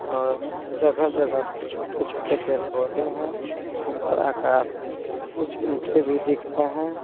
अ जगह-जगह पर छोटे-छोटे पेड़ पौधे हैं ऊपर आकाश है कुछ ईंटे भी दिख रहे हैं।